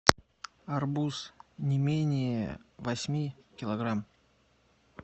арбуз не менее восьми килограмм